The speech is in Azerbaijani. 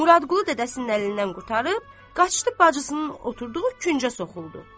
Muradqulu dədəsinin əlindən qurtarıb, qaçdı bacısının oturduğu küncə soxuldu.